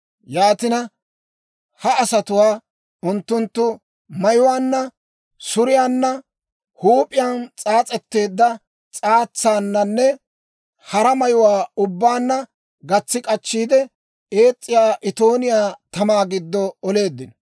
Yaatina, ha asatuwaa, unttunttu mayuwaanna, suriyaanna, huup'iyaan s'aas'eedda s'aatsaananne hara mayuwaa ubbaanna gatsi k'achchiide, ees's'iyaa itooniyaa tamaa giddo oleeddino.